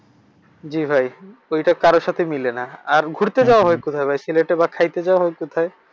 জি ভাই। ঐটা কারো সাথেই মিলেনা। আর ঘুরতে যাওয়া হয় কোথায় ভাই সিলেটে বা খাইতে যাওয়া হয় কোথায়?